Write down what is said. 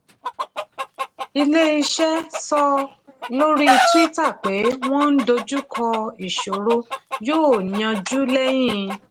ilé-iṣẹ́ sọ lórí twitter pé wọ́n ń dojú kọ ìṣòro yóò yanjú lẹ́yìn.